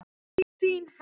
Þín, Helga.